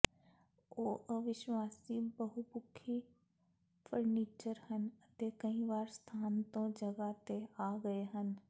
ਉਹ ਅਵਿਸ਼ਵਾਸੀ ਬਹੁਪੱਖੀ ਫਰਨੀਚਰ ਹਨ ਅਤੇ ਕਈ ਵਾਰ ਸਥਾਨ ਤੋਂ ਜਗ੍ਹਾ ਤੇ ਆ ਗਏ ਹਨ